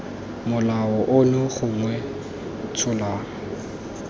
molao ono gongwe b tsholang